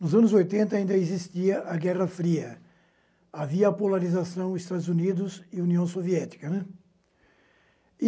Nos anos oitenta ainda existia a Guerra Fria, havia a polarização dos Estados Unidos e União Soviética, né.